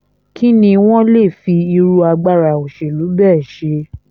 kín ni wọ́n lè fi irú agbára òṣèlú bẹ́ẹ̀ ṣe